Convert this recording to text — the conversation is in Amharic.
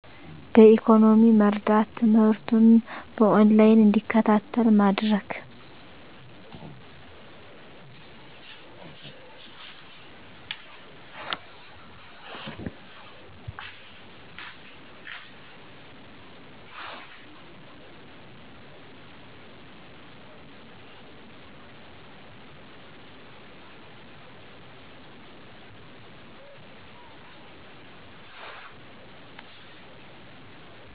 በኢኮኖሚ መርዳት፤ ትምህርቱን በኦን ላይን እንዲከታተል ማድረግ።